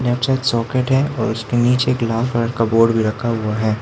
यहा पे सयद सॉकेट है और उसके नीचे एक लाल कलर का बोर्ड भी रखा हुआ है।